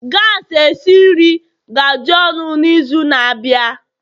gas esi nri ga-adị ọnụ n'izu na-abịa